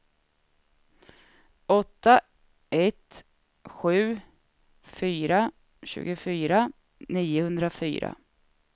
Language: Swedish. åtta ett sju fyra tjugofyra niohundrafyra